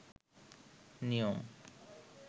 নিয়ম